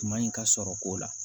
Tuma in ka sɔrɔ ko la